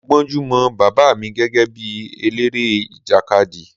Mo gbónjú mọ Bàbá mi gẹ́gẹ́ bí eléré ìjàkadì.